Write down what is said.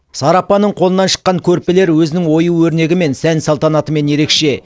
сара апаның қолынан шыққан көрпелер өзінің ою өрнегімен сән салтанатымен ерекше